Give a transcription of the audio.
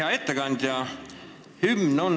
Hea ettekandja!